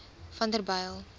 vanderbijl